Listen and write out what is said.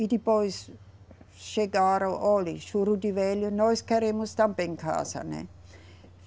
E depois chegaram, olhe, Juriti velho, nós queremos também casa, né?